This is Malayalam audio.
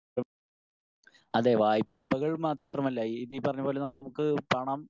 സ്പീക്കർ 1 അതെ വായ്പകൾ മാത്രമല്ല ഈ പറഞ്ഞ പോലെ നമുക്ക് പണം